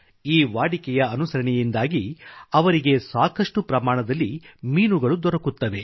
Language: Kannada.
ಈ ವಾಡಿಕೆಯ ಅನುಸರಣಯಿಂದಾಗಿ ಅವರಿಗೆ ಸಾಕಷ್ಟು ಪ್ರಮಾಣದಲ್ಲಿ ಮೀನುಗಳು ದೊರಕುತ್ತವೆ